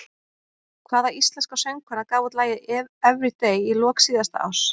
Hvaða íslenska söngkona gaf út lagið Everyday í lok síðasta árs?